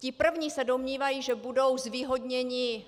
Ti první se domnívají, že budou zvýhodněny